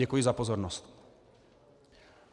Děkuji za pozornost.